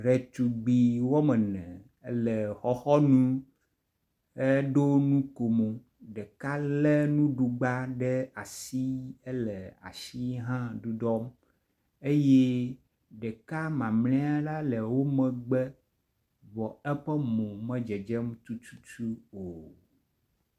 Ɖetugbi woamene le xɔxɔnu he ɖo nukomo, ɖeka le nuɖugba ɖe asi ele asi hã ɖuɖɔ eye ɖeka mamle la le wo megbe vɔ eƒe mo me dzedzem tututu o.